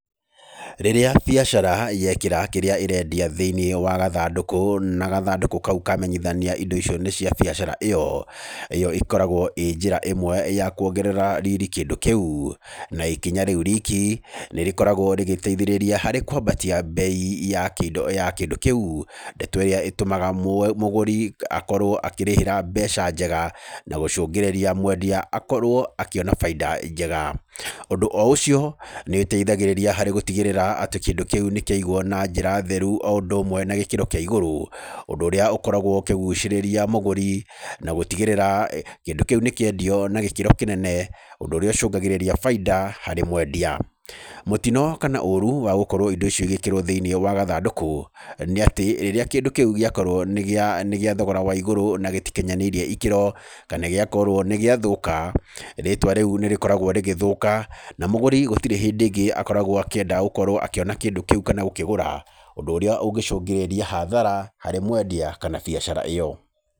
Rĩrĩa biacara yekĩra kĩrĩa ĩrendia thĩ-inĩ wa gathandũkũ na gathandũkũ kau kamenyithania indo icio nĩ cia biacara ĩyo, ĩyo ĩkoragwo ĩ njĩra ĩmwe ya kuongerera riri kĩndũ kĩu, na ikinya rĩu riki nĩ rĩkoragwo rĩgĩteithĩrĩria harĩ kwambatia bei ya kĩndũ kĩu, ndeto ĩrĩa ĩtũmaga mũgũri akorwo akĩrĩhĩra mbeca njega na gũcũngĩrĩria mwendia akorwo akĩona baida njega. Ũndũ o ũcio nĩ ũteithagĩrĩria harĩ gũtigĩrĩra atĩ kĩndũ kĩu nĩ kĩaigwo na njĩra theru o ũndũ ũmwe na gĩkĩro kĩa igũrũ, ũndũ ũrĩa ũkoragwo ũkĩgucĩrĩria mũgũri na gũtigĩrĩra kĩndũ kĩu nĩ kĩendio na gĩkĩro kĩnene, ũndũ ũrĩa ũcũngagĩrĩria baida harĩ mwendia. Mũtino kana ooru wa gũkorwo indo icio igĩkĩrwo thĩ-inĩ wa gathandũkũ nĩ atĩ rĩrĩa kĩndũ kĩu gĩakorwo nĩ gĩa thogora wa igũrũ na gĩtikinyanĩirie ikĩro kana gĩakorwo nĩ gĩathũka, rĩtwa rĩu nĩ rĩkoragwo rĩgĩthũka na mũgũrĩ gũtirĩ hĩndĩ ĩngĩ akoragwo akĩenda gũkorwo akĩona kĩndũ kĩu kana gũkĩgũra, ũndũ ũrĩa ũngĩcũngĩrĩria hathara harĩ mwendia kana biacara ĩyo.